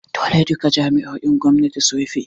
Dole duka jami’o’in gwamnati su rufe!